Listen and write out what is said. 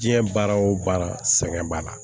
Diɲɛ baara wo baara sɛgɛn b'a la